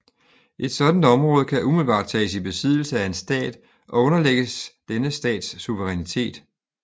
Et sådant område kan umiddelbart tages i besiddelse af en stat og underlægges denne stats suverænitet